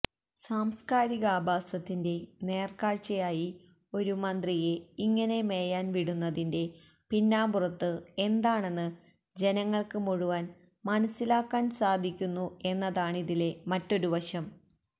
സാംസ്കാരികാഭാസത്തിന്റെ നേര്ക്കാഴ്ചയായി ഒരു മന്ത്രിയെ ഇങ്ങനെ മേയാന് വിടുന്നതിന്റെ പിന്നാമ്പുറത്ത് എന്താണെന്ന് ജനങ്ങള്ക്ക് മുഴുവന് മനസ്സിലാക്കാന് സാധിക്കുന്നു എന്നതാണിതിലെ മറ്റൊരുവശം